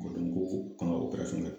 k'an k